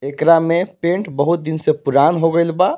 येकरा में पेंट बहुत दिन से पुरान हो गयिल बा।